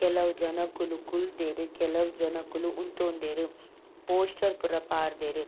ಕೆಲವು ಜನೊಕುಲು ಕುಲ್ದೆರ್ ಕೆಲವು ಜನೊಕುಲು ಉಂತೊಂದೆರ್ ಪೋಸ್ಟರ್ ಪೂರ ಪಾಡ್ದೆರ್.